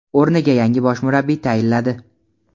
o‘rniga yangi bosh murabbiy tayinladi;.